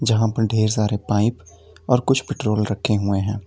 जहां पर ढेर सारे पाइप और कुछ पेट्रोल रखे हुए हैं।